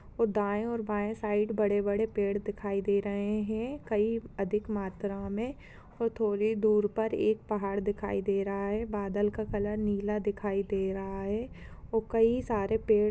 ओ दाये और बाये साइड बड़े-बड़े पेड़ दिखाई दे रहे है कई अधिक मात्रा में और थोड़ी दूर पर एक पहाड़ दिखाई दे रहा है बादल का कलर नीला दिखाई दे रहा है ओ कई सारे पेड़ --